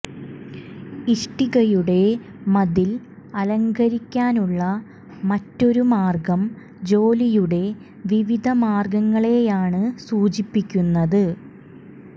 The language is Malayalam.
ഇഷ്ടികയുടെ മതിൽ അലങ്കരിക്കാനുള്ള മറ്റൊരു മാർഗ്ഗം ജോലിയുടെ വിവിധ മാർഗ്ഗങ്ങളെയാണ് സൂചിപ്പിക്കുന്നത്